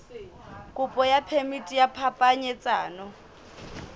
kopo ya phemiti ya phapanyetsano